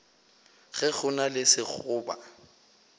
ge go na le sekgoba